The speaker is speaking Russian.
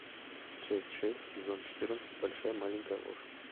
часть шесть сезон четырнадцать большая маленькая ложь